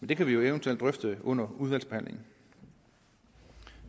det kan vi jo eventuelt drøfte under udvalgsbehandlingen